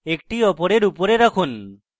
একটি অপরের উপরে রাখুন